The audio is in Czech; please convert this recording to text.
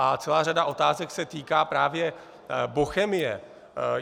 A celá řada otázek se týká právě Bochemie.